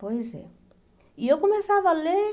Pois é. E eu começava a ler